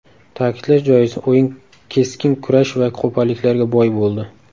Ta’kidlash joiz, o‘yin keskin kurash va qo‘polliklarga boy bo‘ldi.